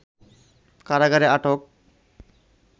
কারাগারে আটক